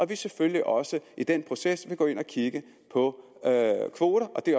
vi selvfølgelig også i den proces vil gå ind og kigge på kvoter og det